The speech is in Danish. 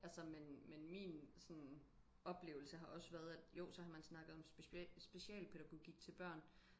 altså men men min sådan oplevelse har også været at jo så har man snakket om special specialpædagogik til børn